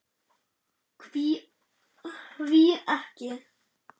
Hví ekki.